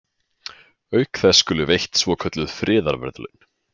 Auk þess skulu veitt svokölluð friðarverðlaun.